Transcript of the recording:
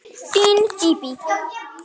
Þín Bíbí.